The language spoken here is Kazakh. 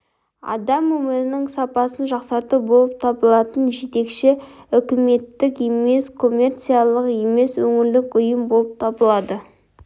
адам өмірінің сапасын жақсарту болып табылатын жетекші үкіметтік емес коммерциялық емес өңірлік ұйым болып табылады